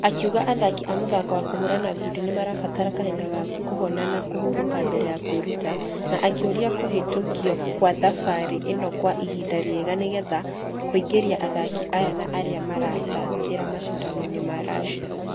Akĩuga athaki a mũthako wa kũhũrana ngundi nĩmarabatara kahinda ga kũhona na kũhuroka mbere ya kwĩruta ....na akĩoria kũhĩtũkiokwathabarĩ ĩnokwaihinda rĩega nĩgetha kũingĩria athaki aya ana arĩa marathqkire mashidano-inĩ ma russia.